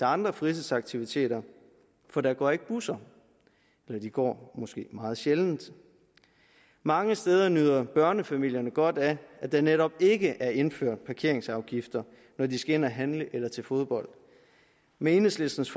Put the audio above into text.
andre fritidsaktiviteter for der går ikke busser eller de går måske meget sjældent mange steder nyder børnefamilierne godt af at der netop ikke er indført parkeringsafgifter når de skal ind at handle eller til fodbold med enhedslistens